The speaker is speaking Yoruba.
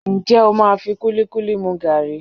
Ǹjẹ́ o máa fi kúlíkúlí mú gààrí?